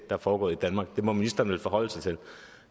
er foregået i danmark det må ministeren vel kunne forholde sig til